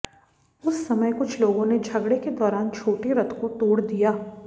उस समय कुछ लोगों ने झगड़े के दौरान छोटे रथ को तोड़ दिया